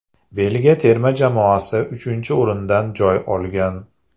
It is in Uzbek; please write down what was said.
Belgiya terma jamoasi uchinchi o‘rindan joy olgan.